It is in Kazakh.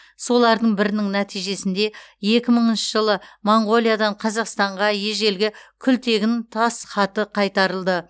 солардың бірінің нәтижесінде екі мыңыншы жылы монғолиядан қазақстанға ежелгі күлтегін тас хаты кайтарылды